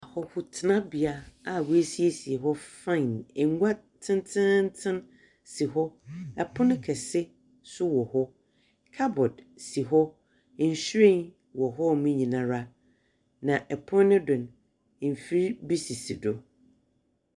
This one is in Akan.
O…ku...tenabea a woesiesie hɔ fine. Ngua tsentsentsen si hɔ. Pon kɛse nso wɔ hɔ. Cupboar si hɔ. Nhyiren wɔ hɔnom nyinara. Na pon no do no, mfir bi sisi do.